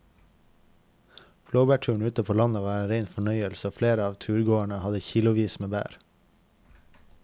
Blåbærturen ute på landet var en rein fornøyelse og flere av turgåerene hadde kilosvis med bær.